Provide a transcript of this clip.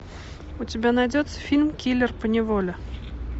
у тебя найдется фильм киллер по неволе